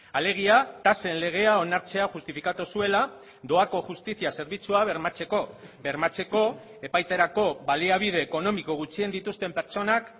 alegia tasen legea onartzea justifikatu zuela doako justizia zerbitzua bermatzeko bermatzeko epaiterako baliabide ekonomiko gutxien dituzten pertsonak